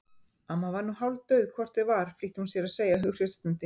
Amma var nú hálfdauð hvort eð var flýtti hún sér að segja hughreystandi.